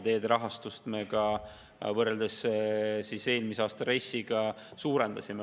Teede rahastust me võrreldes eelmise aasta RES-iga suurendasime.